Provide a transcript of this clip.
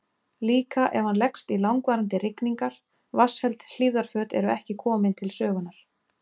Líka ef hann leggst í langvarandi rigningar, vatnsheld hlífðarföt eru ekki komin til sögunnar.